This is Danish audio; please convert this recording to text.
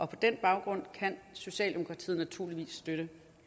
på den baggrund kan socialdemokratiet naturligvis støtte